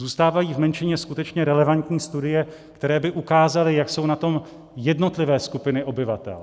Zůstávají v menšině skutečně relevantní studie, které by ukázaly, jak jsou na tom jednotlivé skupiny obyvatel.